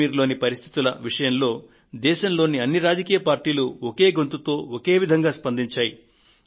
కశ్మీర్ లోని పరిస్థితుల విషయంలో దేశంలోని అన్ని రాజకీయ పార్టీలు ఒకే గొంతుతో ఒకే విధంగా స్పందించాయి